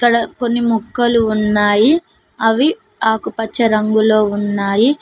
ఇక్కడ కొన్ని మొక్కలు ఉన్నాయి అవి ఆకుపచ్చ రంగులో ఉన్నాయి.